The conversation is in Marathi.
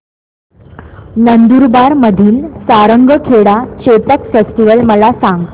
नंदुरबार मधील सारंगखेडा चेतक फेस्टीवल मला सांग